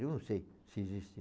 Eu não sei se existe.